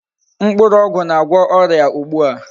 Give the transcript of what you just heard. Mkpụrụ ogwu na-agwo oria ugbu a.